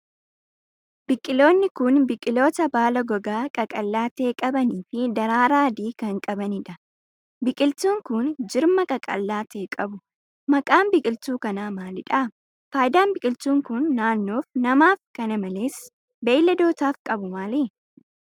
Biqiloonni kun, biqiloota baala gogaa qaqallaa ta'e qabanii fi daraaraa adii kan qabanii dha. Biqiltuun kun, jirma qaqallaa ta'e qabu. Maqaan biqiltuu kanaa maali dha ? Faayidaan biqiltuun kun, naannoof, namaaf kana malees beeyladootaaf qabu maali?